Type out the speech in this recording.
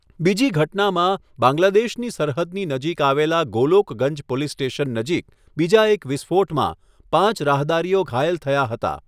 બીજી ઘટનામાં, બાંગ્લાદેશની સરહદની નજીક આવેલ ગોલોકગંજ પોલીસ સ્ટેશન નજીક બીજા એક વિસ્ફોટમાં પાંચ રાહદારીઓ ઘાયલ થયા હતા.